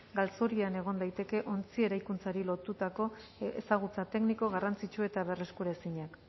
galzorian egon daiteke ontzi eraikuntzari lotutako ezagutza tekniko garrantzitsu eta berreskuraezinak